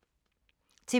TV 2